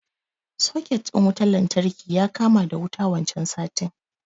Soket ɗin wutan lantarki ya kama da wuta wancan satin